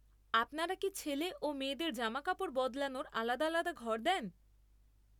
আপনারা কি ছেলে ও মেয়েদের জামাকাপড় বদলানোর আলাদা আলাদা ঘর দেন?